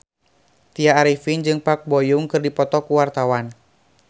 Tya Arifin jeung Park Bo Yung keur dipoto ku wartawan